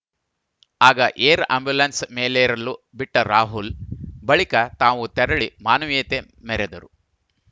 ಆಗ air ambulance ಮೇಲೇರಲು ಬಿಟ್ಟರಾಹುಲ್‌ ಬಳಿಕ ತಾವು ತೆರಳಿ ಮಾನವೀಯತೆ ಮೆರೆದರು